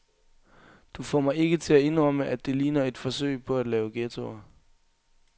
Du får mig ikke til at indrømme, at det ligner et forsøg på at lave ghettoer.